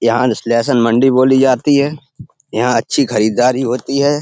यहाँ मंडी में बोली जाती है। यहाँ अच्छी खरीदारी होती है।